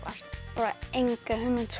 bara enga hugmynd